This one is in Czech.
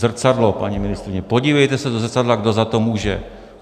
Zrcadlo, paní ministryně, podívejte se do zrcadla, kdo za to může.